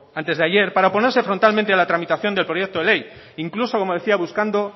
antes de ayer para oponerse frontalmente a la tramitación del proyecto de ley incluso como decía buscando